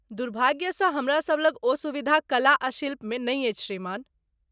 दुर्भाग्यसँ, हमरासभ लग ओ सुविधा कला आ शिल्पमे नहि अछि, श्रीमान।